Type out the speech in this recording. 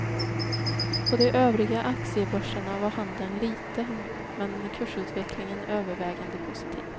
På de övriga aktiebörserna var handeln liten men kursutvecklingen övervägande positiv.